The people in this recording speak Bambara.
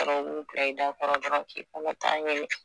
u b'u bila i dakɔrɔ dɔrɔn k'i kɔnɔta ɲini